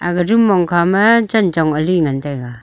aga rom mong kha ma chin chong ali ngan tega.